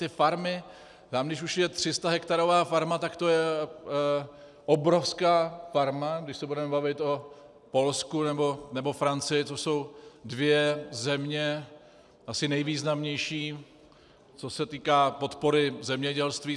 Ty farmy, tam když už je 300hektarová farma, tak to je obrovská farma, když se budeme bavit o Polsku nebo Francii, což jsou dvě země asi nejvýznamnější, co se týká podpory zemědělství.